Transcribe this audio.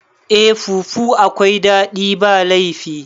Eh fufu akwai daɗi ba laifi